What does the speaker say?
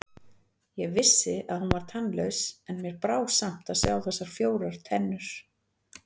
Ég vissi að hún var tannlaus, en mér brá samt að sjá þessar fjórar tennur.